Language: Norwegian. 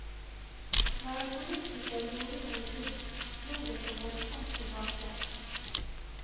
Når en politiker gjorde noe dumt, slo det så voldsomt tilbake.